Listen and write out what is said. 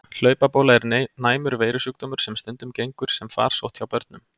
Hlaupabóla er næmur veirusjúkdómur sem stundum gengur sem farsótt hjá börnum.